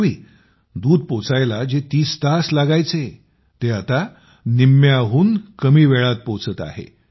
पूर्वी दूध पोहोचायला जे 30 तास लागायचे ते आता निम्म्याहून कमी वेळात पोहोचत आहे